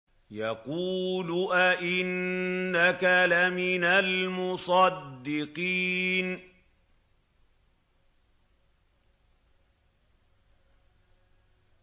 يَقُولُ أَإِنَّكَ لَمِنَ الْمُصَدِّقِينَ